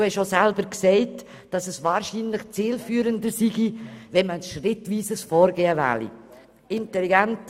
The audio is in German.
Sie haben auch gesagt, es sei zielführender, ein schrittweises Vorgehen zu wählen.